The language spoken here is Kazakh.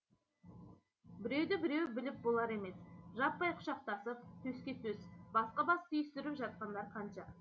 біреуді біреу біліп болар емес жаппай құшақтасып төске төс басқа бас түйістіріп жатқан жандар